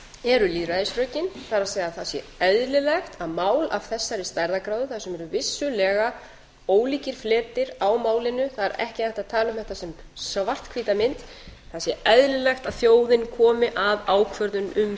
eru lýðræðisrökin það er að það sé eðlilegt að mál af þessari stærðargráðu þar sem eru vissulega ólíkir fleti á málinu það er ekki hægt að tala um þetta sem svarthvíta mynd það sé eðlilegt að þjóðin komi að ákvörðun um